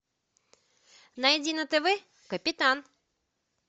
найди на тв капитан